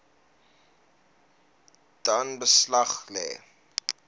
dan beslag lê